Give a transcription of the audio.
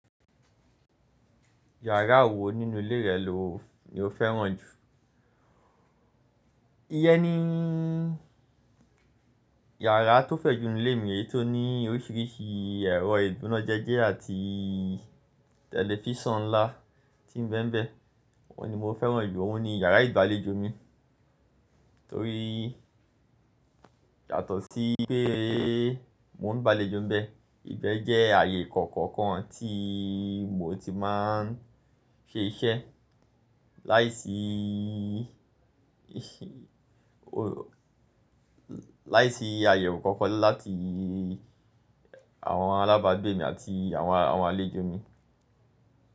Yàrá wo nínú ilé rẹ lo ni o fẹ́ràn jù? Iyẹ́ ní ìyàrá tó fẹ̀ jù nínú ilé mi ni èyí tó ní oríṣiríṣi ẹ̀rọ ìdúnájejẹ́ àti tẹlifísàn ńlá tí ń bẹ́ n bẹ́. Ó ní mo fẹ́ràn jù, ó ní yàrá ìgbàlejò mi, torí yàtọ̀ sí pé mo ń gba àlejò ńbẹ. Ìbẹ jẹ́ ààyè kọ̀ọ̀kan kan tí mo ti máa n ṣe iṣẹ́ láìsí, láìsí àyẹ̀wò kankan láti àwọn alábàágbé mi àti àwọn àwọn àlejò mi.